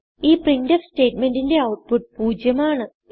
ഈ പ്രിന്റ്ഫ് സ്റ്റേറ്റ്മെന്റിന്റെ ഔട്ട്പുട്ട് 0 ആണ്